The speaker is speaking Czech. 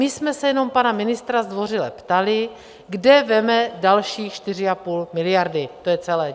My jsme se jenom pana ministra zdvořile ptali, kde vezme další 4,5 miliardy, to je celé.